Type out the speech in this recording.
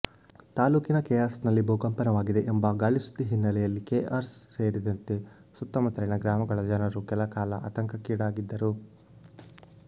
ತಾಲೂಕಿನ ಕೆಆರ್ಎಸ್ನಲ್ಲಿ ಭೂಕಂಪನವಾಗಿದೆ ಎಂಬ ಗಾಳಿ ಸುದ್ದಿ ಹಿನ್ನೆಲೆಯಲ್ಲಿ ಕೆಆರ್ಎಸ್ ಸೇರಿದಂತೆ ಸುತ್ತಮುತ್ತಲಿನ ಗ್ರಾಮಗಳ ಜನರು ಕೆಲಕಾಲ ಆತಂಕಕ್ಕೀಡಾಗಿದ್ದರು